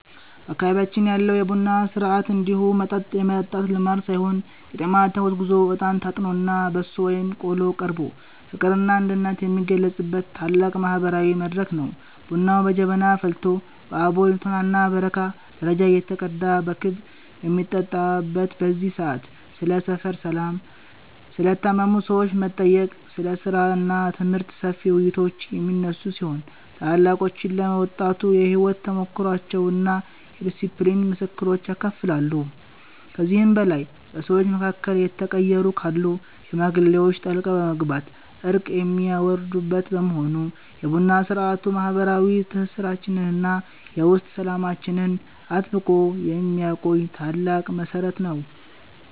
በአካባቢያችን ያለው የቡና ሥርዓት እንዲሁ መጠጥ የመጠጣት ልማድ ሳይሆን ቄጤማ ተጎዝጉዞ፣ እጣን ታጥኖና በሶ ወይም ቆሎ ቀርቦ ፍቅርና አንድነት የሚገለጽበት ታላቅ ማህበራዊ መድረክ ነው። ቡናው በጀበና ፈልቶ በአቦል፣ ቶናና በረካ ደረጃ እየተቀዳ በክብ በሚጠጣበት በዚህ ሰዓት፣ ስለ ሰፈር ሰላም፣ ስለ ታመሙ ሰዎች መጠየቅ፣ ስለ ሥራና ትምህርት ሰፊ ውይይቶች የሚነሱ ሲሆን፣ ታላላቆችም ለወጣቱ የሕይወት ተሞክሯቸውንና የዲስፕሊን ምክሮችን ያካፍላሉ። ከዚህም በላይ በሰዎች መካከል የተቀየሙ ካሉ ሽማግሌዎች ጣልቃ በመግባት እርቅ የሚያወርዱበት በመሆኑ፣ የቡና ሥርዓቱ ማህበረሰባዊ ትስስራችንንና የውስጥ ሰላማችንን አጥብቆ የሚያቆይ ታላቅ መሠረት ነው።